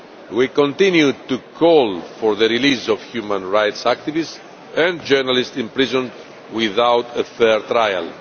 We continue to call for the release of human rights activists and journalists imprisoned without a fair trial.